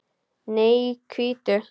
Nei, hvítu.